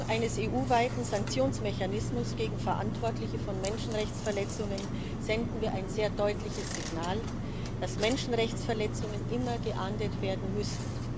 Mit der Schaffung eines EU weiten Sanktionsmechanismus gegen Verantwortliche von Menschenrechtsverletzungen senden wir ein sehr deutliches Signal, dass Menschenrechtsverletzungen immer geahndet werden müssen.